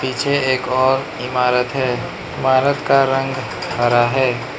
पीछे एक और इमारत है। इमारत का रंग हरा है।